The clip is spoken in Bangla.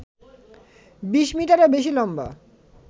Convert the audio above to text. বিশ মিটারেরও বেশি লম্বা